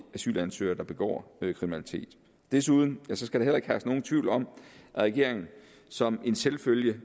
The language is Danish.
asylansøgere der begår kriminalitet desuden skal der heller ikke herske nogen tvivl om at regeringen som en selvfølge